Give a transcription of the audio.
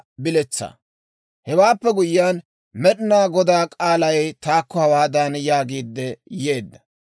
Hewaappe guyyiyaan, Med'inaa Godaa k'aalay taakko hawaadan yaagiidde yeedda;